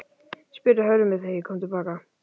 spurði Hörður mig þegar ég kom til baka.